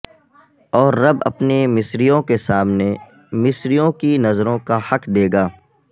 اور رب اپنے مصریوں کے سامنے مصریوں کی نظروں کا حق دے گا